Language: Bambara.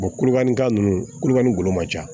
kulubalika ninnu kulokani golo ma ca